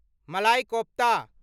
मलाई कोफ्ता